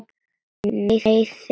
Meiðir hann.